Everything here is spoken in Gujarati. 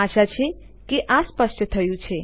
આશા છે કે આ સ્પષ્ટ થયું છે